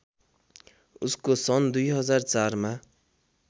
उसको सन् २००४ मा